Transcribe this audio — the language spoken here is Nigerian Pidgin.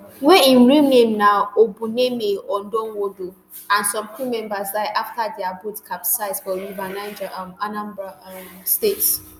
wey im real name na obumneme odonwodo and some crew members die afta dia boat capsize for river niger um anambra um state